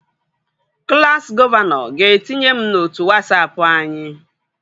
Klassi gọvanọ ga-etinye m n'otu Wasapụ anyị